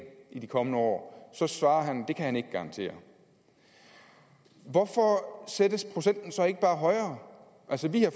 i de kommende år så svarer han alligevel det kan han ikke garantere hvorfor sættes procenten så ikke bare højere altså vi har